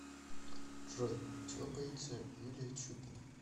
джой чего боится юлия чупина